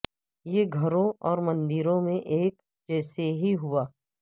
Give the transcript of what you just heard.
یہ گھروں اور مندروں میں ایک جیسے ہی ہوا